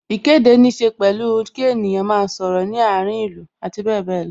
Ìkéde ní ṣe pẹ̀lú kí ènìyàn máa sọ̀rọ̀ ní àárín ìlú abbl.